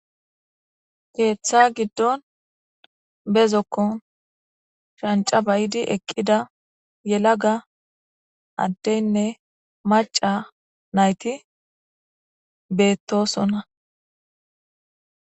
Keeththa giddon bezokko chanca bayidi eqqida yelaga addeynne maca nayti beettosonna.